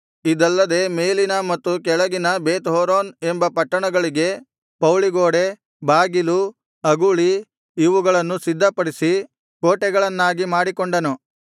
ಇದಲ್ಲದೆ ಮೇಲಿನ ಮತ್ತು ಕೆಳಗಿನ ಬೇತ್ಹೋರೋನ್ ಎಂಬ ಪಟ್ಟಣಗಳಿಗೆ ಪೌಳಿಗೋಡೆ ಬಾಗಿಲು ಅಗುಳಿ ಇವುಗಳನ್ನು ಸಿದ್ಧಪಡಿಸಿ ಕೋಟೆಗಳನ್ನಾಗಿ ಮಾಡಿಕೊಂಡನು